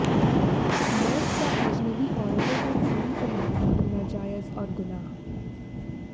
मर्द का अजनबी औरतों को चूड़ी पहनाना नाजायज और गुनाह